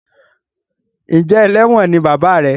Njé eléwòn ní bàbá rẹ?